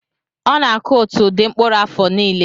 Ọ na-akụ otu ụdị mkpụrụ afọ niile.